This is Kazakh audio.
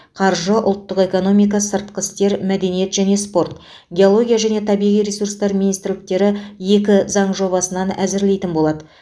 қаржы ұлттық экономика сыртқы істер мәдениет және спорт геология және табиғи ресурстар министрліктері екі заң жобасынан әзірлейтін болады